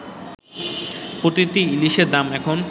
প্রতিটি ইলিশের দাম এখন